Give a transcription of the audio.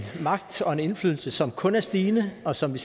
magt og indflydelse som kun er stigende og som vi